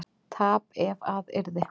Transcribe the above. tap ef að yrði